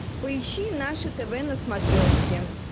поищи наше тв на смотрешке